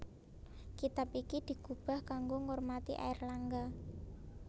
Kitab iki digubah kanggo ngormati Airlangga